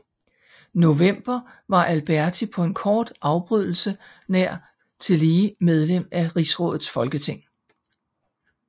November var Alberti på en kort afbrydelse nær tillige medlem af Rigsrådets Folketing